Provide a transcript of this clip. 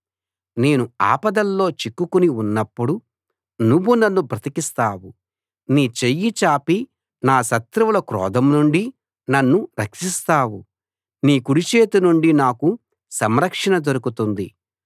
నేను ఆపదల్లో చిక్కుకుని ఉన్నప్పుడు నువ్వు నన్ను బ్రతికిస్తావు నీ చెయ్యి చాపి నా శత్రువుల క్రోధం నుండి నన్ను రక్షిస్తావు నీ కుడిచేతి నుండి నాకు సంరక్షణ దొరుకుతుంది